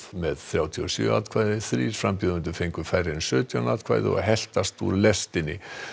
með þrjátíu og sjö atkvæði þrír frambjóðendur fengu færri en sautján atkvæði og heltast úr lestinni